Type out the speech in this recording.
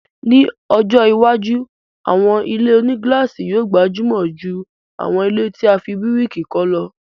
Ni ọjọ́ iwájú, àwọn ilé-onígílàsì yóò gbajúmọ̀ jù àwọn ilẹ́ tí a fi bíríkì kọ́ lọ